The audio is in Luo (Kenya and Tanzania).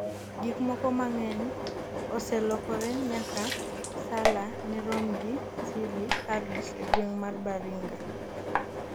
gikmoko mang'eny oselokore nyaka Nsala ne rom gi Seeley Harris e gweng' mar Baringa